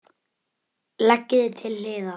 Leggið til hliðar.